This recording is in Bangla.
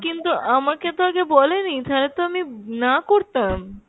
কিন্তু আমাকে তো আগে বলেনি থালে তো আমি না করতাম।